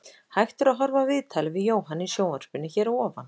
Hægt er að horfa á viðtalið við Jóhann í sjónvarpinu hér að ofan.